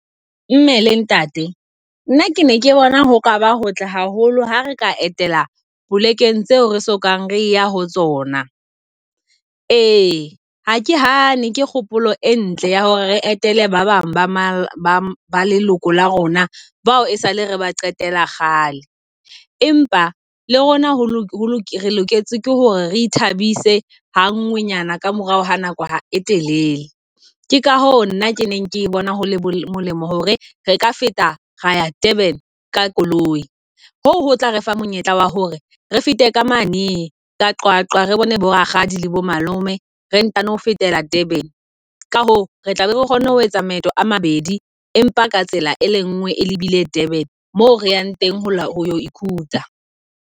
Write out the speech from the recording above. Mme le ntate nna ke ne ke bona ho kaba hotle haholo ha re ka etela polekeng tseo re so kang re ya ho tsona. Ee ha ke hane ke kgopolo e ntle ya hore re etele ba bang ba ba leloko la rona bao e sale re ba qetela kgale. Empa le rona ho lokisa re loketse hore re thabise ha nngwe nyana ka morao ha nako e telele. Ke ka ho nna ke neng ke bone molemo hore re ka feta ra ya Durban ka koloi. Hoo ho tla re fa monyetla wa hore re fete ka mane ka Qwaqwa, re bone bo rakgadi le bo malome, re ntano fetela Durban. Ka hoo, re tlabe re kgone ho etsa maeto a mabedi. Empa ka tsela e lengwe, e lebile Durban moo re yang teng ho ya holo ikhutsa.